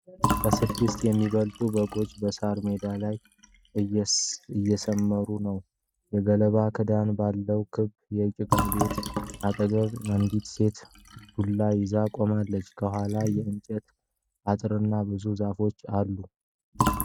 ከስድስት የሚበልጡ በጎች በሳር ሜዳ ላይ እየሰማሩ ነው። የገለባ ክዳን ካለው ክብ የጭቃ ቤት አጠገብ አንዲት ሴት ዱላ ይዛ ቆማለች። ከኋላ የእንጨት አጥርና ብዙ ዛፎች አሉ።